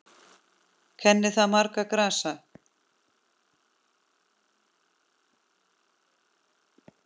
Kennir þar margra grasa.